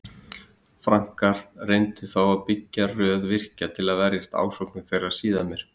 Frankar reyndu þá að byggja röð virkja til að verjast ásókn þeirra síðar meir.